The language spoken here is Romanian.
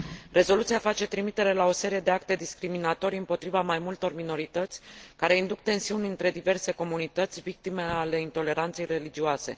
Rezoluția face trimitere la o serie de acte discriminatorii împotriva mai multor minorități, care induc tensiuni între diverse comunități, victime ale intoleranței religioase.